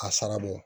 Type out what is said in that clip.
A sara bɔ